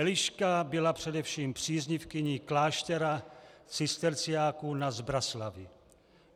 Eliška byla především příznivkyní kláštera cisterciáků na Zbraslavi.